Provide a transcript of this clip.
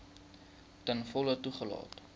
ten volle toegelaat